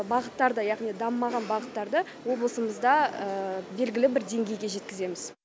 бағыттарды яғни дамымаған бағыттарды облысымызда белгілі бір деңгейге жеткіземіз